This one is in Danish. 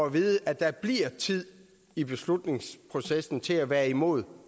at vide at der bliver tid i beslutningsprocessen til at være imod